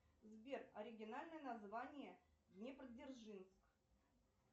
сбер оригинальное название днепродзержинск